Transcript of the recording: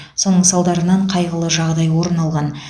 соның салдарынан қайғылы жағдай орын алған